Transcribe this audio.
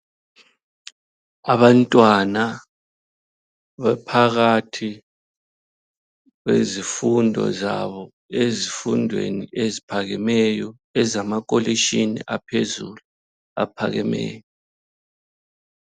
Abantwana baphakathi kwezifundo zabo ezifundweni eziphakemeyo ezama kholitshini aphezulu aphakemeyo.